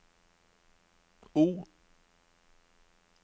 O